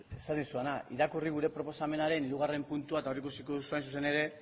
esan dizudana irakurri gure proposamenaren hirugarrena puntua eta hor ikusiko duzu hain zuzen ere